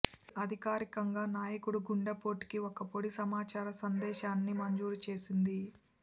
ఇది అధికారికంగా నాయకుడు గుండెపోటుకు ఒక పొడి సమాచార సందేశాన్ని మంజూరు చేసింది